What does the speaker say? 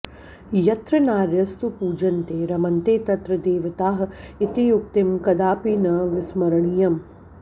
यत्र नार्यस्तु पूजन्ते रम्न्ते तत्र देवताः इति उक्तिं कदापि न विस्मरणीयम्